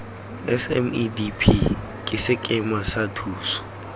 smedp ke sekema sa thuso